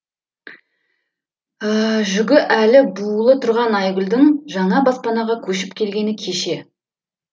жүгі әлі буулы тұрған айгүлдің жаңа баспанаға көшіп келгені кеше